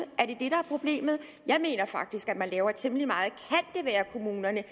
er er problemet jeg mener faktisk at man laver temmelig at kommunerne